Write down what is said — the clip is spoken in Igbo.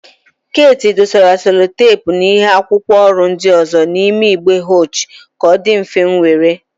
Keeti dosara selotepu na ịhe akwụkwọ ọrụ ndị ọzọ n'ime igbe họchi ka ọ dị mfe iwere.